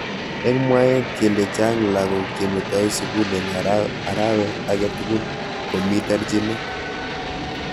Eng mwaet kele chang lakok chemetoi sukul eng arawet age tugul ko mi terjinet.